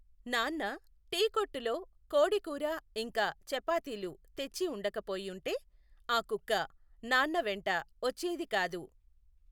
నాన్న టీ కొట్టులో కోడీ కూర ఇంకా చపాతీలు తెచ్చి ఉండక పోయుంటె, ఆ కుక్క నాన్న వెంట వచ్చెది కాదు.